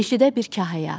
Meşədə bir kahıya atdı.